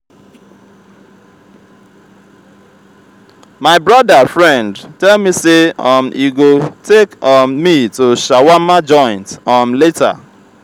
my broda friend tell me say um he go take um me to shawarma joint um later.